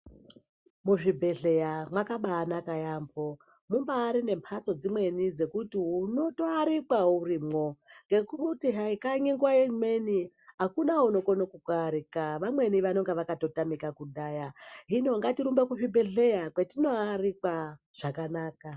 Muzvibhedhleya mwakabanaka yaambo mumbarine mhatso dzimweni dzokuti unotoarikwa urimwo. Ngekuti hai kanyi nguva imweni hakuna unokone kukuarika vamweni vanonga vakatotamika kudhaya. Hino ngatirumbe kuzvibhedhleya kwatinoarikwa zvakanaka.